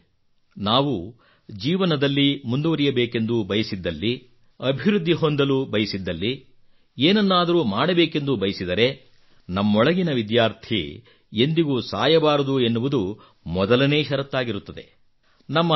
ಸ್ನೇಹಿತರೇ ನಾವು ಜೀವನದಲ್ಲಿ ಮುಂದುವರಿಯಬೇಕೆಂದು ಬಯಸಿದಲ್ಲಿ ಅಭಿವೃದ್ಧಿ ಹೊಂದಲು ಬಯಸಿದಲ್ಲಿ ಏನನ್ನಾದರೂ ಮಾಡಬೇಕೆಂದು ಬಯಸಿದರೆ ನಮ್ಮೊಳಗಿನ ವಿದ್ಯಾರ್ಥಿ ಎಂದಿಗೂ ಸಾಯಬಾರದು ಎನ್ನುವುದು ಮೊದಲನೇ ಷರತ್ತಾಗಿರುತ್ತದೆ